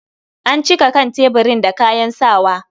An cika kan tebirin da kayan sawa.